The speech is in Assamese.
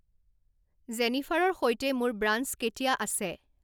জেনিফাৰৰ সৈতে মোৰ ব্ৰাঞ্চ কেতিয়া আছে